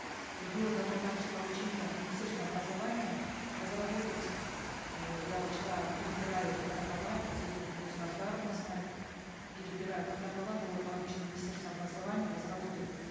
и было дано также поручение министерству образования разработать э я вот вчера перебираю протокола вот здесь аждаровна знает перебираю протокола было поручено министерству образования разработать